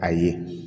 A ye